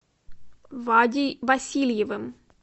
вадей васильевым